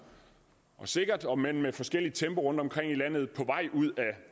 og sikkert om end med forskelligt tempo rundtomkring i landet på vej ud